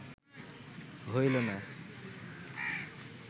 হইল না